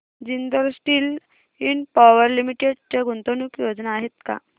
Jindal steel and power limited च्या गुंतवणूक योजना आहेत का